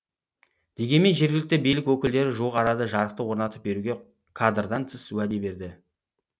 дегенмен жергілікті билік өкілдері жуық арада жарықты орнатып беруге кадрдан тыс уәде берді